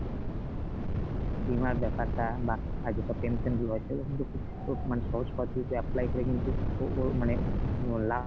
বীমার ব্যাপারটা বা আর যেসব pension গুলো আছে ওগুলো কিন্তু খুব তো মানে সহজ পদ্ধতিতে apply করে কিন্তু ও ও মানে